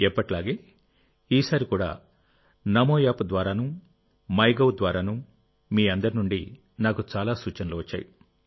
ఎప్పటిలాగేఈసారి కూడా నమో యాప్ ద్వారానూ MyGov ద్వారానూ మీ అందరి నుండి నాకు చాలా సూచనలు వచ్చాయి